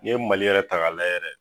Ni ye mali yɛrɛ ta ga layɛ yɛrɛ